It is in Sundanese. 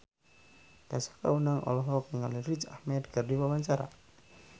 Tessa Kaunang olohok ningali Riz Ahmed keur diwawancara